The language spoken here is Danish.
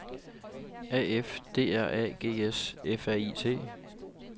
A F D R A G S F R I T